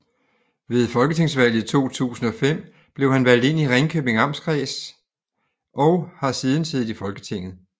Ved Folketingsvalget 2005 blev han valgt ind for Ringkøbing Amtskreds og har siden siddet i Folketinget